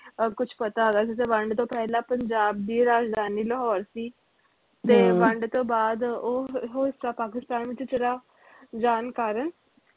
ਅਹ ਕੁਛ ਪਤਾ ਹੈਗਾ ਜਿਦਾ ਵੰਡ ਤੋਂ ਪਹਿਲਾ ਪੰਜਾਬ ਦੀ ਰਾਜਧਾਨੀ ਲਾਹੌਰ ਸੀ ਤੇ ਵੰਡ ਤੋਂ ਬਾਅਦ ਉਹ ਅਹ ਉਹ ਹਿਸਾ ਪਾਕਿਸਤਾਨ ਵਿਚ ਚਲਾ ਜਾਨ ਕਾਰਣ